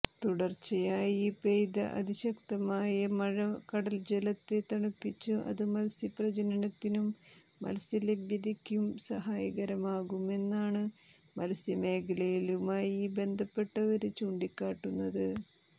തുടര്ച്ചയായി പെയ്ത അതിശക്തമായ മഴ കടല്ജലത്തെ തണുപ്പിച്ച് അത് മത്സ്യപ്രജനനത്തിനും മത്സ്യലഭ്യതയ്ക്കും സഹായകരമാകുമെന്നാണ് മത്സ്യമേഖലയുമായി ബന്ധപ്പെട്ടവര് ചൂണ്ടിക്കാട്ടുന്നത്